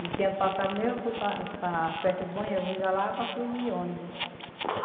Dizia ano passado, meu, eu fui para para as festas do Bom Jesus da Lapa, fui de ônibus.